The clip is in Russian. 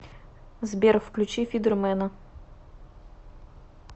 сбер включи фидер мена